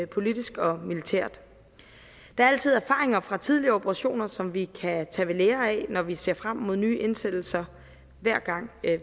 politisk og militært der er altid erfaringer fra tidligere operationer som vi kan tage ved lære af når vi ser frem mod nye indsættelser hver gang